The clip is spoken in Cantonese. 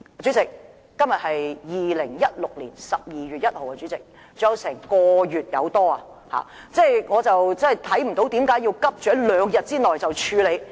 主席，今天是2016年12月1日，還有1個多月時間，我看不到為何要急於在兩天內處理？